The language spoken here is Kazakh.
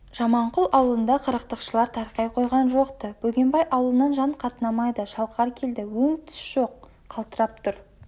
жаманқұл аулында қырықтықшылар тарқай қойған жоқ-ты бөгенбай аулынан жан қатынамайды шалқар келді өң-түс жоқ қалтырап тұр